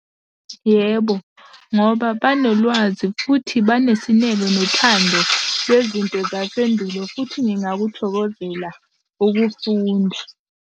Yebo, ngoba banolwazi futhi banesineke nothando lwezinto zasendulo, futhi ngingakuthokozela ukufunda.